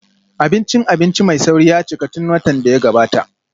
Abincin abinci mai sauri ya cika tun watan da ya gabata